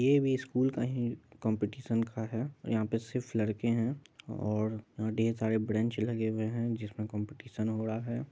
यह भी स्कूल का है कंपटीशन का है यहां पे सिर्फ लड़के है और ढेर सारे ब्रेंच लगे हुए है जिसमें कंपटीशन हो रहा है।